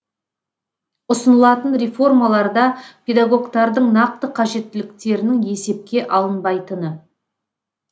ұсынылатын реформаларда педагогтардың нақты қажеттіліктерінің есепке алынбайтыны